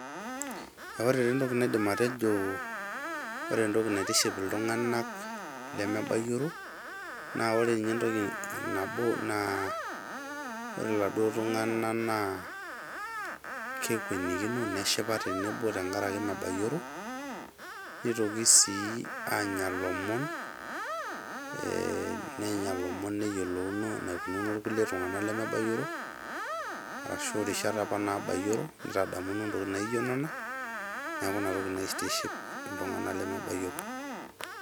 Niaku ore taa entoki naitiship iltunganak leme bayioro naa ore ninye entoki nabo naa ore iladuo tunganak naa kekwenikino , neshipa tenebo tenkaraki mebayioro , nitoki sii anya ilomon , ee nenya ilomon nieyiolokino enikununo irkulie tunganak lemebayioro arashu irishat apa nabayioro nitadamuno ntokitin naijo nena , niaku ina toki naitiship iltunganak lemebayioro.